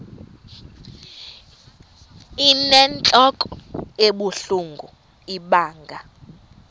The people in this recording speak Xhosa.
inentlok ebuhlungu ibanga